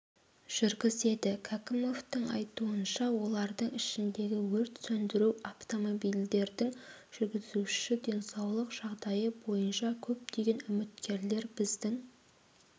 жүргізеді кәкімовтің айтуынша олардың ішіндегі өрт сөндіру автомобильдердің жүргізуші денсаулық жағдайы бойынша көптеген үміткерлер біздің